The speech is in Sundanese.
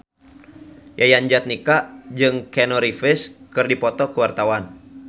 Yayan Jatnika jeung Keanu Reeves keur dipoto ku wartawan